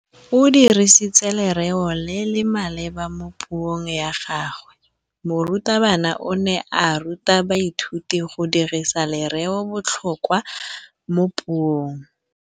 O dirisitse lerêo le le maleba mo puông ya gagwe. Morutabana o ne a ruta baithuti go dirisa lêrêôbotlhôkwa mo puong.